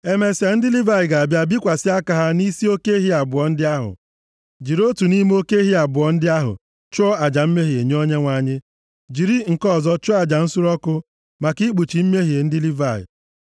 “Emesịa, ndị Livayị ga-abịa bikwasị aka ha nʼisi oke ehi abụọ ndị ahụ jiri otu nʼime oke ehi abụọ ndị ahụ chụọ aja mmehie nye Onyenwe anyị, jiri nke ọzọ chụọ aja nsure ọkụ, maka ikpuchi mmehie ndị Livayị.